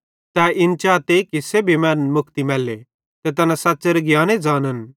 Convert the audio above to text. तै इन चाते कि सेब्भी मैनन् मुक्ति मैल्ले ते तैना सच़्च़ेरे ज्ञाने ज़ानन